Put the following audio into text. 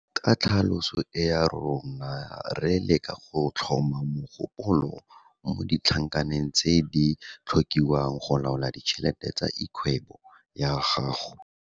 Ka tlhaloso e ya rona re leka go tlhoma mogopolo mo ditlhankaneng tse di tlhokiwang go laola ditšhelete tsa lgwebo ya gago.